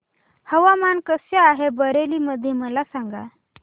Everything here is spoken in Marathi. हवामान कसे आहे बरेली मध्ये मला सांगा